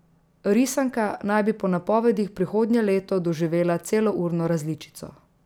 Risanka naj bi po napovedih prihodnje leto doživela celourno različico.